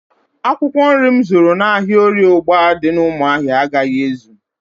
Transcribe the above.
Akwụkwọ nri m zụrụ n'ahịa orie ụgba dị n'ụmụahia agaghị ezu